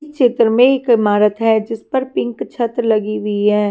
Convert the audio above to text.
चित्र में एक ईमारत है जिस पर पिंक छत लगी हुई है।